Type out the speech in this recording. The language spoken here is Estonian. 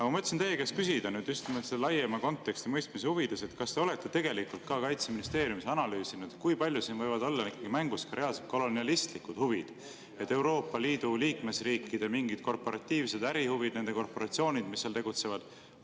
Ma mõtlesin teie käest küsida just nimelt selle laiema konteksti mõistmise huvides, kas te olete tegelikult ka Kaitseministeeriumis analüüsinud, kui palju siin võivad olla mängus reaalselt kolonialistlikud huvid, Euroopa Liidu liikmesriikide mingid korporatiivsed ärihuvid, nende korporatsioonide, mis seal tegutsevad.